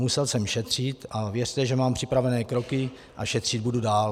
Musel jsem šetřit, a věřte, že mám připravené kroky a šetřit budu dál.